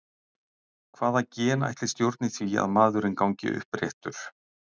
Hvaða gen ætli stjórni því að maðurinn gangi uppréttur?